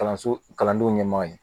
Kalanso kalandenw ɲɛmaaw ye